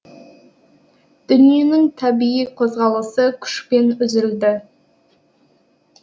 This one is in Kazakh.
дүниенің табиғи қозғалысы күшпен үзілді